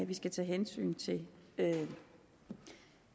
vi skal tage hensyn til